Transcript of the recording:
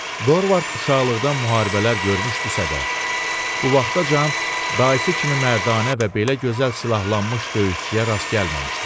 Dorvard uşaqlıqdan müharibələr görmüşdüsə də, bu vaxtacan dayısı kimi mərdanə və belə gözəl silahlanmış döyüşçüyə rast gəlməmişdi.